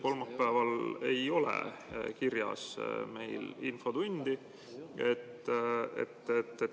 Kolmapäeval ei ole meil kirjas infotundi.